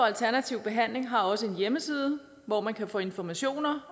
alternativ behandling har også en hjemmeside hvor man kan få informationer